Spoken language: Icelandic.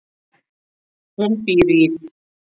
Hún býr í